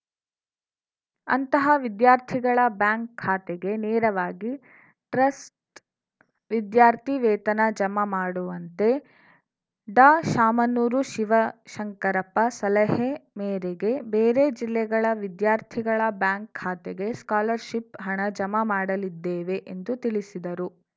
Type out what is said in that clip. ಅಂತಹ ವಿದ್ಯಾರ್ಥಿಗಳ ಬ್ಯಾಂಕ್‌ ಖಾತೆಗೆ ನೇರವಾಗಿ ಟ್ರಸ್ಟ್‌ ವಿದ್ಯಾರ್ಥಿ ವೇತನ ಜಮಾ ಮಾಡುವಂತೆ ಡಾಶಾಮನೂರು ಶಿವಶಂಕರಪ್ಪ ಸಲಹೆ ಮೇರೆಗೆ ಬೇರೆ ಜಿಲ್ಲೆಗಳ ವಿದ್ಯಾರ್ಥಿಗಳ ಬ್ಯಾಂಕ್‌ ಖಾತೆಗೆ ಸ್ಕಾಲರ್‌ ಶಿಪ್‌ ಹಣ ಜಮಾ ಮಾಡಲಿದ್ದೇವೆ ಎಂದು ತಿಳಿಸಿದರು